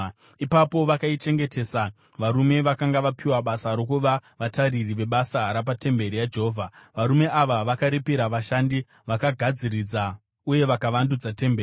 Ipapo vakaichengetesa varume vakanga vapiwa basa rokuva vatariri vebasa rapatemberi yaJehovha. Varume ava vakaripira vashandi vakagadziridza uye vakavandudza temberi.